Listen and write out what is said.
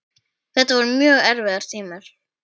Þetta voru mjög erfiðir tímar.